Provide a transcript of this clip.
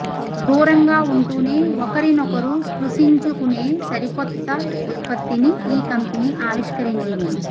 దూరంగా ఉంటూనే ఒకరినొకరు స్పృశించుకేనే సరికొత్త ఉత్త్పత్తిని ఈ కంపెనీ ఆవిష్కరించింది